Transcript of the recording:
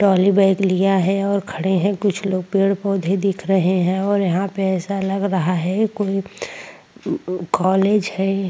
Trolley bag और खड़े है कुछ लोग पेड़-पौधे दिख रहे है और यहाँ पे ऎसा लग रहा है कोई कॉलेज हैं ।